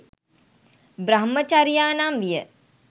බ්‍රහ්මචරියා නම් විය.